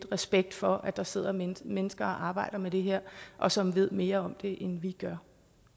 respekt for at der sidder mennesker mennesker og arbejder med det her og som ved mere om det end vi gør